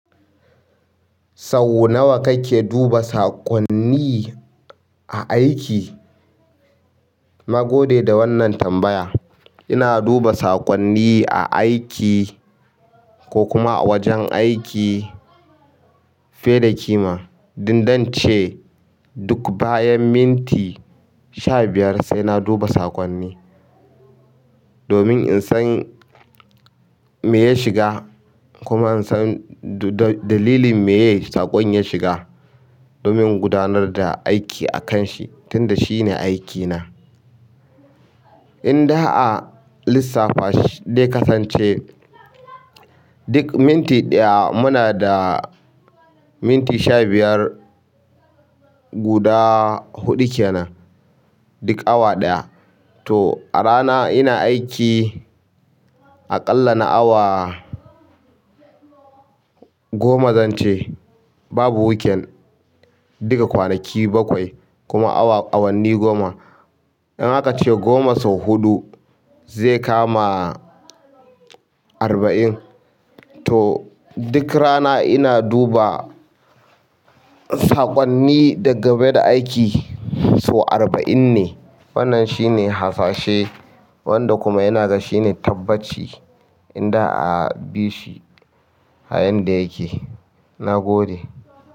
Sau nawa kake duba saƙonni a aiki? Na gode da wannan tambaya. Ina duba saƙonni a aiki ko kuma a wajen aiki fiye da ƙima. Dn dan ce duk bayan minti sha biyar sai na duba saƙonni. Domin in san me ya shiga kuma in san dalilin me ye saƙon ya shiga, domin in gudanar da aiki a kan shi, tunda shi ne aikina. Inda a lissafa shi de kasance duk minti ɗaya munada minti sha biyar guda huɗu kenan. Duk awa ɗaya. To a rana ina aiki aƙalla na awa goma zan ce. Babu weekend. Duka kwanaki bakwai kuma awanni goma. In haka ce goma sau huɗu zai kama arba'in. To duk rana ina duba saƙonni dangane da aiki sau arba'in ne. Wannan shine hasashe wanda kuma ina ga shi ne tabbaci in da a bi shi. Ayan da yake, na gode.